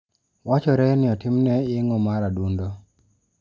Wachore ni otimne yeng'o mar adundo.